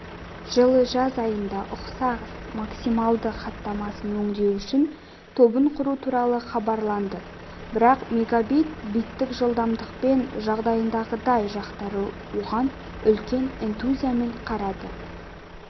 жылы жаз айында ұқсас максималды хаттамасын өңдеу үшін тобын құру туралы хабарланды бірақ мегабит биттік жылдамдықпен жағдайындағыдай жақтары оған үлкен энтузиазммен қарады